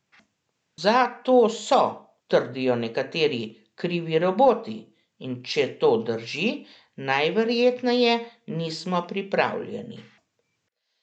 Za to so, trdijo nekateri, krivi roboti, in če to drži, najverjetneje nismo pripravljeni.